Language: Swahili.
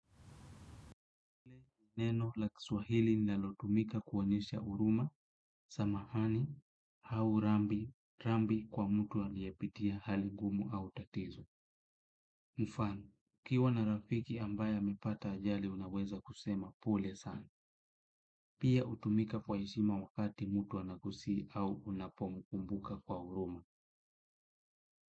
Neno la kiswahili linalotumika kuonyesha huruma, samahani, au rambirambi kwa mtu aliyepitia hali gumu au tatizo. Mfano, ukiwa na rafiki ambaye amepata ajali unaweza kusema pole sana. Pia hutumika kwa heshima wakati mtu anakosea au unapomkumbuka kwa huruma.